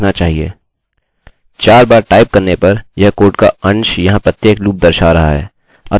4 बार टाइप करने पर यह कोड का अंश यहाँ प्रत्येक लूप दर्शा रहा है